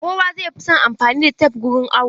Kowa zai fi son anfani da tep wurin awo.